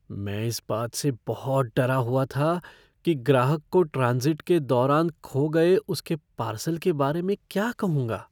मैं इस बात से बहुत डरा हुआ था कि ग्राहक को ट्रांज़िट के दौरान खो गए उसके पार्सल के बारे में क्या कहूंगा।